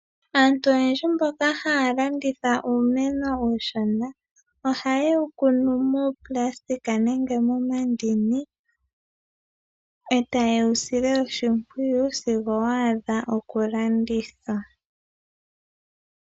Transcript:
Aantu oyendji mboka haa landitha uumeno uushona oha ye wu kunu miifwagalala nenge momandini ga tetwa, eta ye wu sile oshimpwiyu sigo wadha okulandithwa.